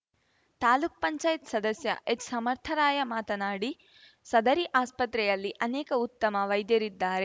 ತಾಲ್ಲುಕ್ ಪಂಚಾಯತ್ ಸದಸ್ಯ ಎಚ್‌ಸಮರ್ಥರಾಯ ಮಾತನಾಡಿ ಸದರಿ ಆಸ್ಪತ್ರೆಯಲ್ಲಿ ಅನೇಕ ಉತ್ತಮ ವೈದ್ಯರಿದ್ದಾರೆ